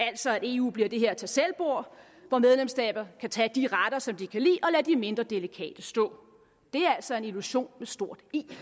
altså at eu bliver det her tagselvbord hvor medlemsstater kan tage de retter som de kan lide og lade de mindre delikate stå det er altså en illusion med stort i den